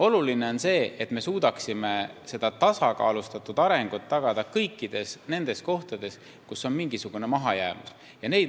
Oluline on see, et me suudaksime tagada tasakaalustatud arengu kõikides nendes kohtades, kus on mingisugune mahajäämus.